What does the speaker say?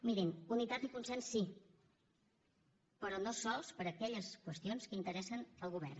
mirin unitat i consens sí però no sols per aquelles qüestions que interessen el govern